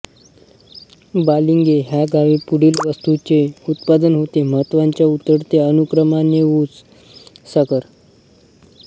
बालिंगे ह्या गावी पुढील वस्तूंचे उत्पादन होते महत्त्वाच्या उतरत्या अनुक्रमानेऊस साखर